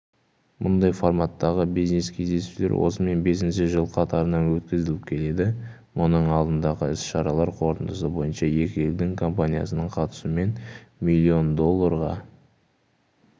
мұндай форматтағы бизнес кездесулер осымен бесінші жыл қатарынан өткізіліп келеді мұның алдындағы іс-шаралар қорытындысы бойынша екі елдің компаниясының қатысуымен млн долларға